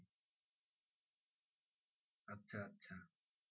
আচ্ছা আচ্ছা।